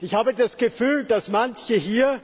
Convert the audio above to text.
Ich habe das Gefühl, dass manche hier